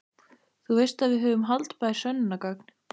Þú veist að við höfum haldbær sönnunargögn.